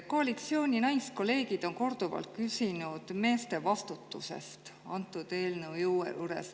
Koalitsiooni naiskolleegid on selle eelnõu korduvalt küsinud meeste vastutuse kohta.